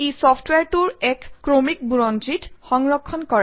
ই চফট্ৱেৰটোৰ এক ক্ৰমিক বুৰঞ্জীও সংৰক্ষণ কৰে